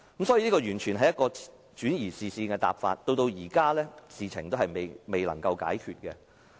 所以，這完全是一個轉移視線的答覆，直到現在，事情仍未解決。